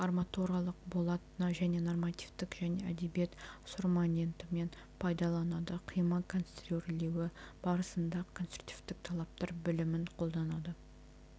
арматуралық болат және нормативтік және әдебиет сорматентімен пайдаланады қима конструирлеуі барысында конструктивтік талаптар білімін қолданады